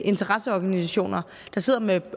interesseorganisationer der sidder med